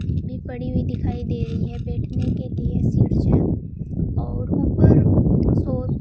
भी पड़ी हुई दिखाई दे रही है बैठने के लिए सीढ़ियां और ऊपर सो --